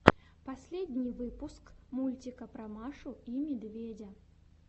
последний выпуск мультика про машу и медведя